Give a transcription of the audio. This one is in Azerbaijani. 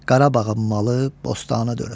Qarabağın malı bostana dönüb.